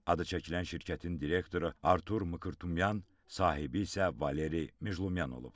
Adı çəkilən şirkətin direktoru Artur Mkrtumyan, sahibi isə Valeri Meclyumyan olub.